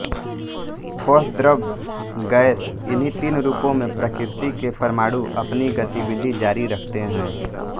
ठोस द्रव गैस इन्हीं तीन रूपों में प्रकृति के परमाणु अपनी गतिविधि जारी रखते हैं